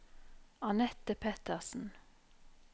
Anette Pettersen